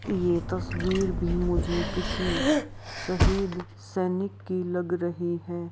पैर दिख रहे हैं जो नाख़ून भी दिख रही हैं पत्थर का बना गए हैं बहुत सारे डीजाईने बनाए गए हैं पर जो मुकुट है जो गोटी गोटी टाइप मे बने--